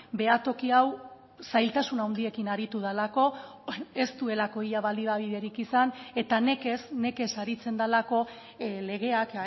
behatoki hau zailtasun handiekin aritu delako ez duelako ia baliabiderik izan eta nekez nekez aritzen delako legeak